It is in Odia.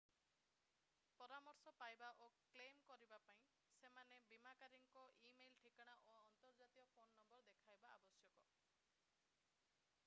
ପରାମର୍ଶ/ଅନୁମତି ପାଇବା ଓ କ୍ଲେମ୍‍ କରିବା ପାଇଁ ସେମନେ ବୀମାକାରୀଙ୍କ ଇ-ମେଲ୍‍ ଠିକଣା ଓ ଅନ୍ତର୍ଜାତୀୟ ଫୋନ୍‍ ନମ୍ବର ଦେଖାଇବା ଆବଶ୍ୟକ।